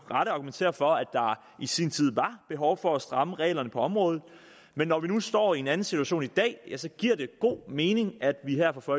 rette argumentere for at der i sin tid var behov for at stramme reglerne på området men når vi nu står i en anden situation i dag giver det god mening at vi her fra